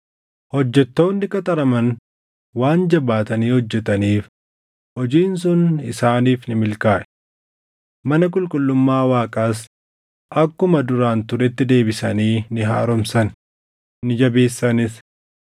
Hojjettoonni qaxaraman waan jabaatanii hojjetaniif hojiin sun isaaniif ni milkaaʼe. Mana qulqullummaa Waaqaas akkuma duraan turetti deebisanii ni haaromsan; ni jabeessanis.